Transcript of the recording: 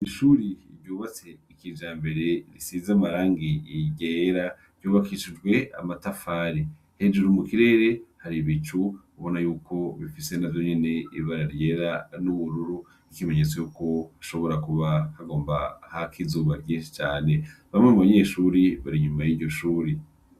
Ishure ryubatse kijambere risize amarangi ryera, ryubakishikwe amatafari. Hejuru mu kirere hari ibicu ubona yuko bifise navyo nyene ibara ryera n'ubururu, ikimenyetso yuko hashobora kuba hagomba hake izuba ryinshi cane, bamwe mu banyeshuri bari inyuma y'iryo shuri.